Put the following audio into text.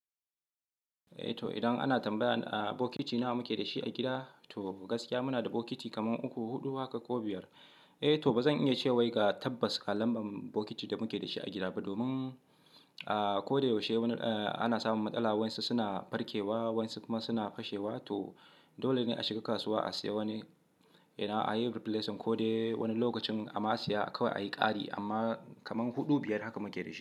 Eh to idan ana tambaya a bokiti nawa muke da shi a gida, to gaskiya muna da bokiti kaman uku, huɗu haka ko biyar. Eh to ba zan iya cewa ga tabbas ga lambar bokitin da muke da shi a gida ba, domin a ko da yaushe wani ana samun matsala. Wansu suna farkewa, wansu kuma suna fashewa. To dole ne a shiga kasuwa a sayi wani, ina a yi replacement ko dai wani lokacin amma a siya kawai a yi ƙari. Amma kaman huɗu, biyar haka muke da shi.